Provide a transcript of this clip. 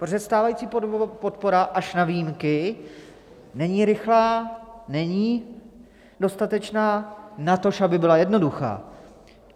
Protože stávající podpora, až na výjimky, není rychlá, není dostatečná, natož aby byla jednoduchá.